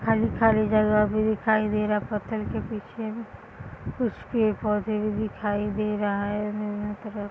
खाली-खाली जगह भी दिखाई दे रहा है। पत्थर के पीछे उसके पोधे भी दिखाई दे रहा है। न्यू न्यू तरह --